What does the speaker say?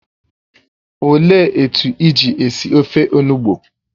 Ọ léé etu iji esi ofe onugbụ?